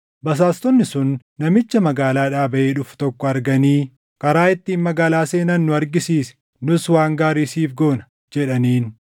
basaastonni sun namicha magaalaadhaa baʼee dhufu tokko arganii, “Karaa ittiin magaalaa seenan nu argisiisi; nus waan gaarii siif goona” jedhaniin.